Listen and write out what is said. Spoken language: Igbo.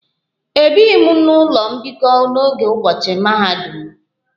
Ebighi m n'ụlọ mbikọ n'oge ụbọchị mahadum m